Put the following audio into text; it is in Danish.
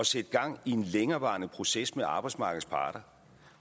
sætte gang i en længerevarende proces med arbejdsmarkedets parter